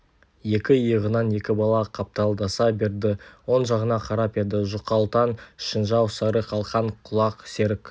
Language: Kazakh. екі иығынан екі бала қапталдаса берді оң жағына қарап еді жұқалтаң шінжау сары қалқан құлақ серік